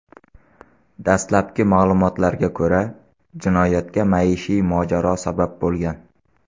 Dastlabki ma’lumotlarga ko‘ra, jinoyatga maishiy mojaro sabab bo‘lgan.